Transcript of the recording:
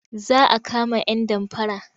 Za a kama yan damfara.